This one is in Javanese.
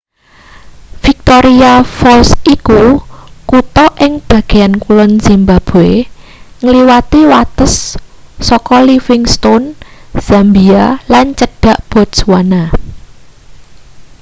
victoria falls iku kuta ing bagean kulon zimbabwe ngliwati wates saka livingstone zambia lan cedhak botswana